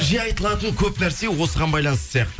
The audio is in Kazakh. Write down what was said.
жиі айтылатын көп нәрсе осыған байланысты сияқты